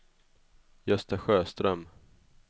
Gösta Sjöström